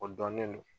O dɔnnen don